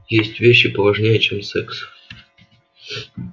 есть вещи поважнее чем секс